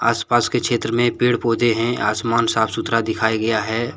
आसपास के क्षेत्र में पेड़ पौधे हैं आसमान साफ- सुथरा दिखाया गया है।